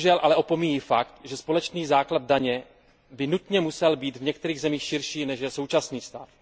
Bohužel ale opomíjí fakt, že společný základ daně by nutně musel být v některých zemích širší, než je současný stav.